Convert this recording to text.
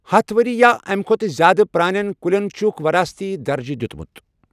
ہتھَ ؤری یا اَمہِ کھۄتہٕ زِیٛادٕ پرٛانین کُلٮ۪ن چھُکھ ورَٲثتی درجہٕ دِیُوتمُت۔